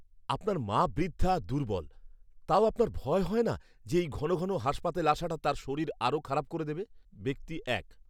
আপনার মা বৃদ্ধা আর দুর্বল, তাও আপনার ভয় হয় না যে এই ঘন ঘন হাসপাতালে আসাটা তাঁর শরীর আরও খারাপ করে দেবে? ব্যক্তি এক